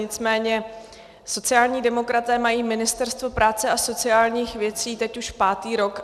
Nicméně sociální demokraté mají Ministerstvo práce a sociálních věcí teď už pátý rok.